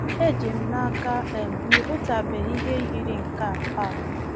Eji m n’aka um na ị hụtụbeghị ihe yiri nke a. a.